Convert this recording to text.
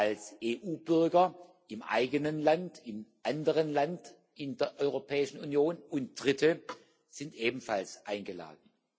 Als EU Bürger im eigenen Land, in einem anderen Land in der Europäischen Union, und Dritte sind ebenfalls eingeladen.